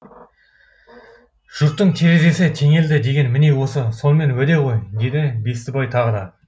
жұрттың терезесі теңелді деген міне осы сонымен уәде ғой деді бестібай тағы да